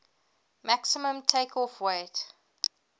maximum takeoff weight